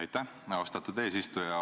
Aitäh, austatud eesistuja!